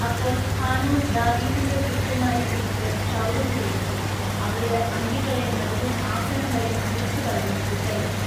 അപ്പോൾ ഹാനൂൻ ദാവീദിന്റെ ഭൃത്യന്മാരെ പിടിച്ചു ക്ഷൗരം ചെയ്യിച്ചു അവരുടെ അങ്കികളെ നടുവിൽ ആസനംവരെ മുറിച്ചുകളഞ്ഞു വിട്ടയച്ചു.